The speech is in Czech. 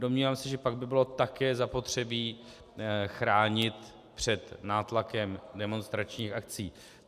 Domnívám se, že pak by bylo také zapotřebí chránit před nátlakem demonstračních akcí.